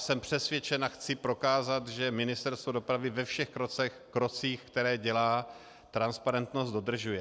Jsem přesvědčen a chci prokázat, že Ministerstvo dopravy ve všech krocích, které dělá, transparentnost dodržuje.